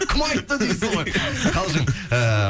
кім айтты дейсіз ғой қалжың ыыы